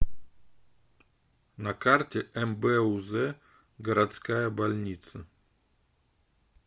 на карте мбуз городская больница